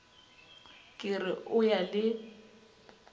ke re o ya le